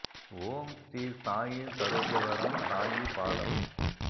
ஓம் ஸ்ரீ சாயி சரோஜவரம் சாயி பாதம்